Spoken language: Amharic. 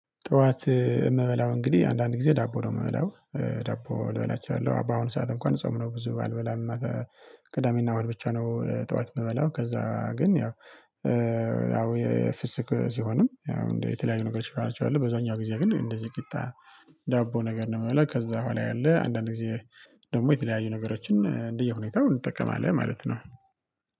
ጠዋት የምበላው እንግዲህ አንዳንድ ጊዜ ዳቦ ነው የምበላው። ዳቦ ልበላቸው አለው። ባሁኑ ሰዓት እንኳን ጾም ነው ብዙ አልበላም። ቅዳሜና እና እሁድ ብቻ ነው ጠዋት የምበላው ከዛ ግን ያው ያው የፍስክ ሲሆንም ያው እንደ የተለያዩ ነገሮች ናቸው ያሉት በዛኛው ጊዜ ግን እንደዚህ ቂጣ ዳቦ ነገር ነው የምበላው ከዛ በኋላ ያለ አንዳንድ ጊዜ ደግሞ የተለያዩ ነገሮችን እንደየሁኔታው እንጠቀማለን። ማለት ነው።